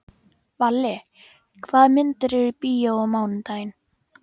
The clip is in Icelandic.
Valli, hvaða myndir eru í bíó á mánudaginn?